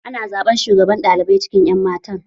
Ana zaɓen shugabar ɗalibai a cikin ƴan matan.